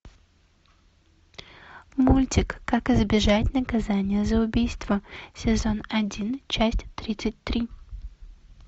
мультик как избежать наказания за убийство сезон один часть тридцать три